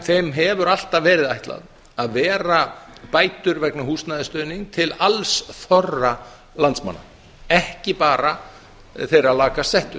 þeim hefur alltaf verið ætlað að vera bætur vegna húsnæðisstuðnings til alls þorra landsmanna ekki bara þeirra lakast settu